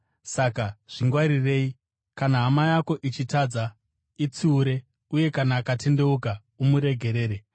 Saka zvingwarirei. “Kana hama yako ichitadza, itsiure, uye kana akatendeuka, umuregerere.